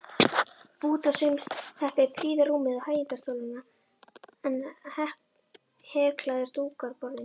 Bútasaumsteppi prýða rúmið og hægindastólana en heklaðir dúkar borðin.